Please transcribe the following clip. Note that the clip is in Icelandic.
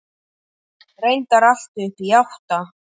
Reyndar allt upp í átta.